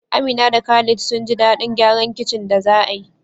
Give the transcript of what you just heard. Amina da Khalid sun ji daɗin gyaran kicin da za a yi.